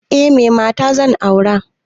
Eh, me mata zan aura.